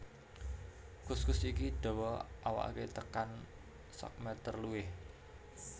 Kuskus iki dawa awaké tekan sakmétér luwih